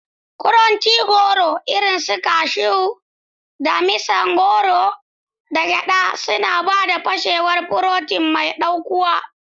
Crunchy goro irin su cashews, damisa goro, da gyada suna ba da fashewar furotin mai ɗaukuwa.